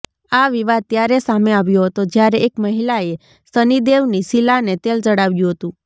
આ વિવાદ ત્યારે સામે આવ્યો હતો જ્યારે એક મહિલાએ શનિ દેવની શિલાને તેલ ચડાવ્યું હતું